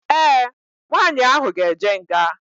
Ee, nwaanyị ahụ ga-eje nga.